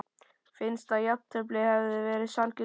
Finnst að jafntefli hefði verið sanngjörn úrslit?